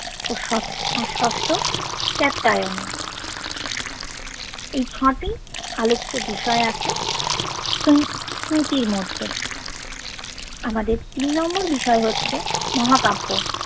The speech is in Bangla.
ও ষট্ ষষ্ঠ কাত্যায়ন এই ছটি আলোচ্য বিষয় আছে স্মৃ স্মৃতির মধ্যে আমাদের তিন নম্বর বিষয় হচ্ছে মহাকাব্য